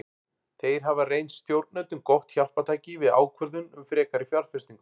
Þeir hafa reynst stjórnendum gott hjálpartæki við ákvörðun um frekari fjárfestingu.